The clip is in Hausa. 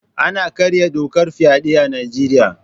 Ana karya dokar fyaɗe a Nijeriya